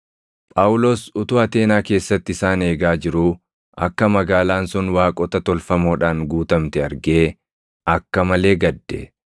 Phaawulos utuu Ateenaa keessatti isaan eegaa jiruu akka magaalaan sun waaqota tolfamoodhaan guutamte argee akka malee gadde.